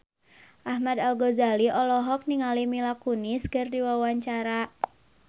Ahmad Al-Ghazali olohok ningali Mila Kunis keur diwawancara